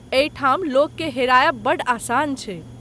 एहिठाम लोक के हेरायब बड्ड आसान छै ।